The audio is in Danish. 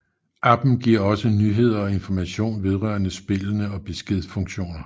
Appen giver også nyheder og information vedrørende spillene og beskedfunktioner